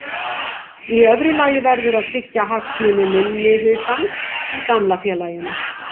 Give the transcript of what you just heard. Í öðru lagi verður að tryggja hagsmuni minnihlutans í gamla félaginu.